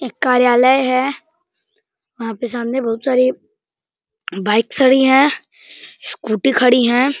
एक कार्यालय है। वहाँ पे सामने बहोत सारी बाइक्स खड़ी है। स्कूटी खड़ी है।